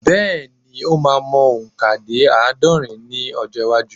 Bẹ́ẹ̀̀ ni, o máa mọ òǹkà dé àádọ́rùn-ún ní ọjọ́-iwájú.